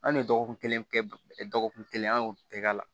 An ye dɔgɔkun kelen kɛ dɔgɔkun kelen an y'o bɛɛ k'a la